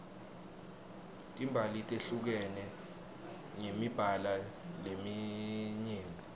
timbali tehlukene ngemibala leminyeni